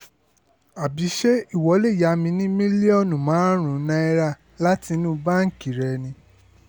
àbí ṣé ìwọ lè yá mi ní mílíọ̀nù márùn-ún náírà láti inú báǹkì rẹ ni